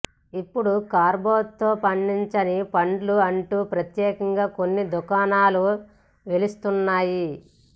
ఇప్పుడు కార్బైడ్తో పండించని పండ్లు అంటూ ప్రత్యేకంగా కొన్ని దుకాణాలు వెలుస్తున్నాయి